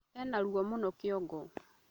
Ena ruo mũno kĩongo